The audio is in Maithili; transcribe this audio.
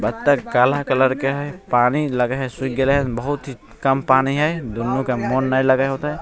बत्तख काला कलर के हेय पानी सुख गेलय हेय बहुत ही कम पानी हेय दुनो के मन ने लगे होते --